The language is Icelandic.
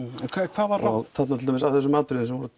hvað var rangt til dæmis af þessum atriðum sem